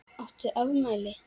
Áttu afmæli?